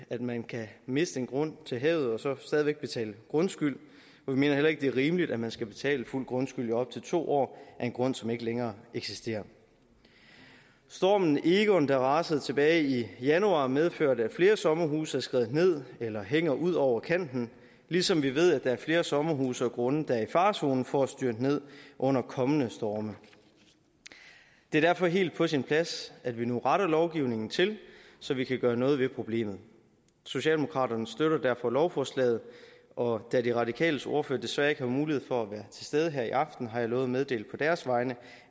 at man kan miste en grund til havet og så stadig væk betale grundskyld vi mener heller ikke det er rimeligt at man skal betale fuld grundskyld i op til to år af en grund som ikke længere eksisterer stormen egon der rasede tilbage i januar medførte at flere sommerhuse er skredet ned eller hænger ud over kanten ligesom vi ved at der er flere sommerhuse og grunde der er i farezonen for at styrte ned under kommende storme det er derfor helt på sin plads at vi nu retter lovgivningen til så vi kan gøre noget ved problemet socialdemokraterne støtter derfor lovforslaget og da de radikales ordfører desværre ikke har mulighed for at være til stede her i aften har jeg lovet at meddele på deres vegne